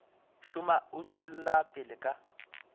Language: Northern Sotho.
šoma o tšwela pele ka